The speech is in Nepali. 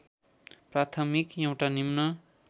प्राथमिक एउटा निम्न